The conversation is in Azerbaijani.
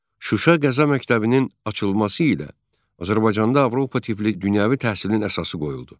Şuşa Qəza Məktəbinin açılması ilə Azərbaycanda Avropa tipli dünyəvi təhsilin əsası qoyuldu.